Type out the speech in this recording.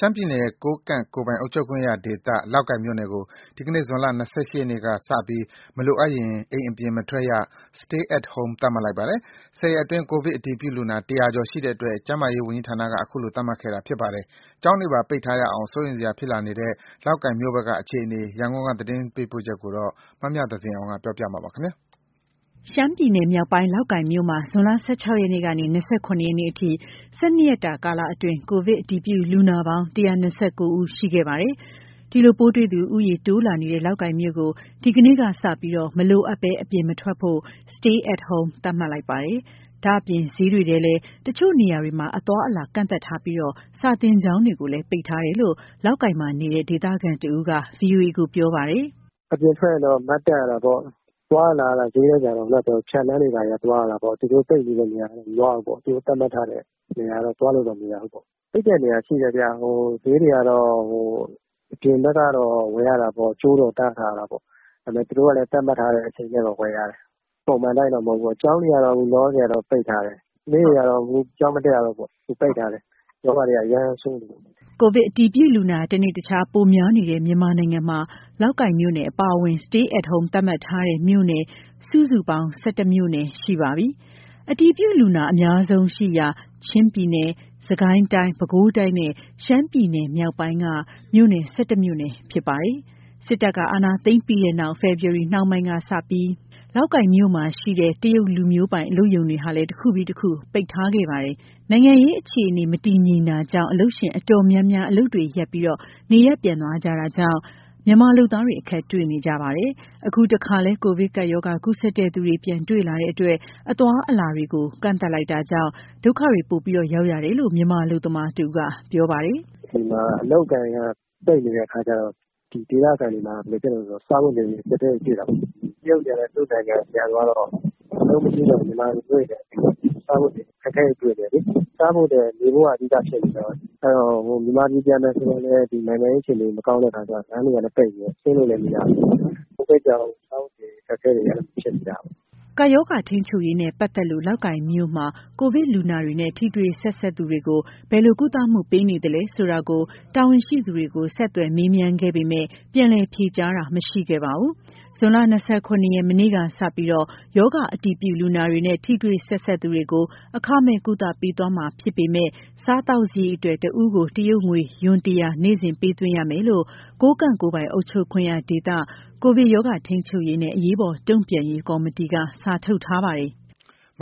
ှမ်းပြည်နယ်၊ ကိုးကန့်ကိုယ်ပိုင်အုပ်ချုပ်ခွင့်ရဒေသ လောက်ကိုင်မြို့နယ်ကို ဒီနေ့ ဇွန် ၂၈ ရက်ကစပြီး မလိုအပ်ရင် အိမ်ပြင်မထွက်ရ Stay at Home သတ်မှတ်လိုက်ပါတယ်။ ၁၀ ရက်အတွင်း ကိုဗစ်အတည်ပြုလူနာ ၁၀၀ ကျော်ရှိတဲ့အတွက် ကျန်းမာရေးဝန်ကြီးဌာနက ခုလိုသတ်မှတ်ခဲ့တာဖြစ်ပါတယ်။ ကျောင်းတွေပါ ပိတ်ထားရအောင် စိုးရိမ်စရာဖြစ်နေတဲ့ လောက်ကိုင်မြို့နယ်ဘက်က အခြေအနေ ရန်ကုန်သတင်းပေးပို့ချက်ကို မမြသဇင်အောင် ပြောပြမှာပါ။ ရှမ်းပြည်မြောက်ပိုင်း၊ လောက်ကိုင်မြို့မှာ ဇွန်လ ၁၆ ရက်ကနေ ၂၇ရက်နေ့အထိ ၁၂ရက်တာကာလအတွင်း ကိုဗစ်အတည်ပြုလူနာပေါင်း ၁၂၉ ဉီး ရှိခဲ့ပါတယ်။ ဒီလို ပိုးတွေ့သူဉီးရေတိုးလာနေတဲ့ လောက်ကိုင်မြို့ကို ဒီကနေ့ကစပြီး မလိုအပ်ဘဲအပြင်မထွက်ဖို့ Stay at Home သတ်မှတ်လိုက်ပါတယ်။ ဒါ့အပြင် ဈေးတွေထဲလည်း တချို့နေရာတွေမှာ အသွားအလာကန့်သတ်ထားပြီး စာသင်ကျောင်းတွေကိုလည်း ပိတ်ထားတယ်လို့ လောက်ကိုင်မှာနေတဲ့ ဒေသခံတဉီးက ဗွီအိုအေကိုပြောပါတယ်။ "အပြင်ထွက်ရင်တော့ Mask တပ်ရတာပေါ့။ သွားရလာရတာ ဈေးတွေကတော့ ဖြတ်လမ်းကနေသွားရတာပေါ့။ သူတို့ပိတ်ထားတဲ့ သတ်မှတ်ထားတဲ့နေရာတွေကတော့ သွားလို့မရဘူးပေါ့။ ပိတ်တဲ့နေရာတွေရှိတယ်ဗျ။ ဈေးတွေကတော့ ကြိုးတော့တားထားတာပေါ့၊ အပြင်ဘက်ကနေ ဝယ်ရတယ်၊ သူတို့သတ်မှတ်ထားတဲ့အတိုင်း ဝယ်ရတယ်၊ ပုံမှန်အတိုင်းတော့ မဟုတ်ဘူးပေါ့။ ကျောင်းတွေကတော့ အခုလောလောဆယ် ပိတ်ထားတယ်။ ကလေးတွေကတော့ အခုကျောင်းမတက်ရတော့ဘူးပေါ့။ ရောဂါတွေက အရမ်းဆိုးနေတယ်။" ကိုဗစ်အတည်ပြုလူနာ တနေ့တခြားပိုများနေတဲ့ မြန်မာနိုင်ငံမှာ လောက်ကိုင်မြို့နယ်အပါအဝင် Stay at Home သတ်မှတ်ထားတဲ့မြို့နယ် စုစုပေါင်း ၁၁ မြို့နယ်ရှိသွားပါပြီ။ အတည်ပြုလူနာအများဆုံးရှိရာ ချင်းပြည်နယ်၊ စစ်ကိုင်းတိုင်း၊ ပဲခူးတိုင်းနဲ့ ရှမ်းပြည်နယ်မြောက်ပိုင်းက မြို့နယ် ၁၁ မြို့နယ်ဖြစ်ပါတယ်။ စစ်တပ်ကအာဏာသိမ်းခဲ့ပြီးနောက် ဖေဖော်ဝါရီလ နှောင်းပိုင်းကစပြီး လောက်ကိုင်မြို့မှာရှိတဲ့ တရုတ်လူမျိုးပိုင် အလုပ်ရုံတွေလည်း တခုပြီးတခု ပိတ်ခဲ့ပါတယ်။ နိုင်ငံရေးအခြေအနေ မတည်ငြိမ်တာကြောင့် အလုပ်ရှင်တော်တော်များများ အလုပ်တွေရပ်ပြီး နေရပ်ပြန်သွားကြ မြန်မာလုပ်သားတွေ အခက်တေ့ွနေကြပါတယ်။ အခုတခါလည်း ကိုဗစ်ကပ်ရောဂါ ကူးစက်သူတွေ ပြန်တွေ့လာနေလို့ အသွားအလာတွေကိုပါ ကန့်သတ်လိုက်တာကြောင့် ဒုက္ခတွေပိုရောက်ရတယ်လို့ မြန်မာလုပ်သားတဉီးက ပြောပါတယ်။ "ဒီမှာ အလုပ်အကိုင်တွေက ပိတ်နေတဲ့အခါကျတော့ ဒေသခံတွေမှာက စားဝတ်နေရေးအကြပ်အတည်းတွေ ဖြစ်နေတာပေါ့။ တရုတ်တွေကလည်း သူတို့နိုင်ငံကိုပြန်သွားတော့ အလုပ်မရှိတော့ဘဲ မြန်မာလူမျိုးတွေ အခက်အခဲတြွေဖစ်ကြတယ်။ စားဖို့ထက် နေဖို့က အဓိကဖြစ်နေတော့ မြန်မာပြည်ပြန်မယ်ဆိုရင်လည်း ဒီနိုင်ငံရေးအခြေအနေ မကောင်းတဲ့အခါကျ လမ်းတွေကလည်းပိတ်နေတော့ ဆင်းလို့လည်းမရဘူး။ ကိုဗစ်ကြောင့် အခက်အခဲတွေ အများကြီးဖြစ်နေကြတယ်။" ကပ်ရောဂါထိန်းချုပ်ရေးနဲ့ ပတ်သက်လို့ လောက်ကိုင်မြို့မှာ ကိုဗစ်လူနာတွေနဲ့ ထိတွေ့ဆက်စပ်သူတွေကို ဘယ်လိုကုသမှုပေးနေလဲဆိုတာကို တာဝန်ရှိသူတွေကို ဆက်သွယ်မေးမြန်းခဲ့ပေမဲ့ ပြန်လည်ဖြေကြားတာ မရှိခဲ့ပါဘူး။ ဇွန်လ ၂၇ရက်၊ မနေ့ကစပြီး ရောဂါအတည်ပြုလူနာတွေနဲ့ ထိတွေ့ဆက်စပ်သူတွေကို အခမဲ့ကုသပေးသွားမှာဖြစ်ပေမဲ့ စားသောက်စရိတ်အတွက် တဉီးကို တရုတ်ငွေ ယွမ် ၁၀၀ နေ့စဉ်ပေးသွင်းရမယ်လို့ ကိုးကန့်ကိုယ်ပိုင်အုပ်ချုပ်ခွင့်ရဒေသ၊ ကိုဗစ်ရောဂါ ထိန်းချုပ်ရေးနဲ့ အရေးပေါ်တုံ့ပြန်ရေးကော်မတီက စာထုတ်ထားပါတယ်။ မ